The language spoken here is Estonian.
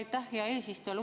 Aitäh, hea eesistuja!